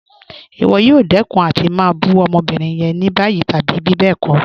Ìwọ̀ yóò dẹkun àti má bù ọmọ́bírín yẹn ní bayí tàbí bíbẹ́ẹ̀kọ̀.